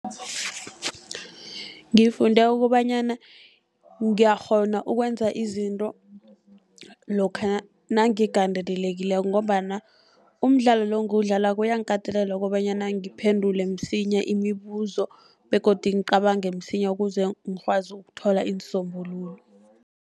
Ngifunde kobanyana ngiyakghona ukwenza izinto lokha nangigandelelekileko, ngombana umdlalo lo engiwudlalako, uyangikatelela kobanyana ngiphendule msinya imibuzo, begodu ngicabange msinya ukuze ngikwazi ukuthola iinsombululo.